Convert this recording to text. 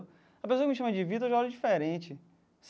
A pessoa me chama de Vitor eu já olho diferente.